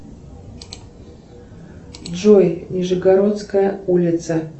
джой нижегородская улица